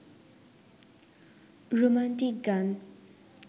romantic গান